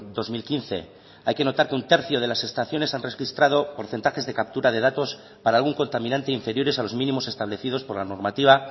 dos mil quince hay que notar que un tercio de las estaciones han registrado porcentajes de captura de datos para algún contaminante inferiores a los mínimos establecidos por la normativa